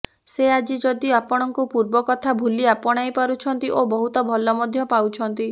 ସେ ଆଜି ଯଦି ଆପଣଙ୍କୁ ପୂର୍ବ କଥା ଭୁଲି ଆପଣାଇ ପାରୁଛନ୍ତି ଓ ବହୁତ ଭଲ ମଧ୍ୟ ପାଉଛନ୍ତି